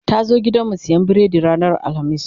ta zo gidanmu siyan biredi ranar alhamis